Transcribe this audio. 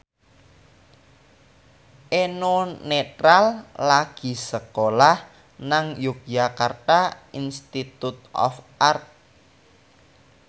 Eno Netral lagi sekolah nang Yogyakarta Institute of Art